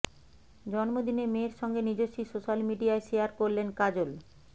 জন্মদিনে মেয়ের সঙ্গে নিজস্বী সোশ্যাল মিডিয়ায় শেয়ার করলেন কাজল